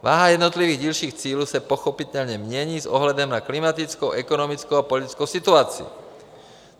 Váha jednotlivých dílčích cílů se pochopitelně mění s ohledem na klimatickou, ekonomickou a politickou situaci.